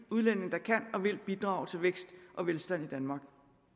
udlændinge der kan og vil bidrage til vækst og velstand i danmark